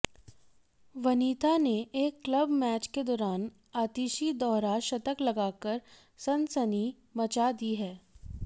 वनिथा ने एक club match के दौरान आतिशी दोहरा शतक लगाकर सनसनी मचा दी है